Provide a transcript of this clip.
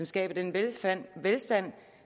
skaber den velstand velstand